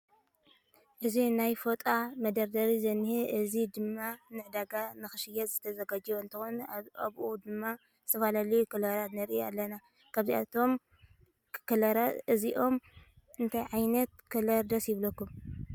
እዚ ናይ ፎጣ መደርደሪ ዝነሄ እዚ ድማ ንዕዳጋ ንክሽየጥ ዝተዛጋጀወ እንትኮን ኣብኡ ድማ ዝተፈላለዩ ከለራት ንርኢ ኣለና። ካብዞም ከለራት እዚኦም እንታይ ዓይነት ከለር ደስ ይብለኩም?